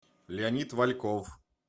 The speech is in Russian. леонид вальков